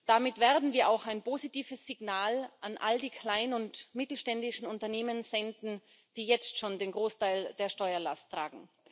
Damit werden wir auch ein positives Signal an all die kleinen und mittelständischen Unternehmen senden, die jetzt schon den Großteil der Steuerlast tragen.